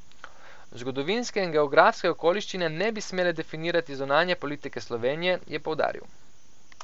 Zgodovinske in geografske okoliščine ne bi smele definirati zunanje politike Slovenije, je poudaril.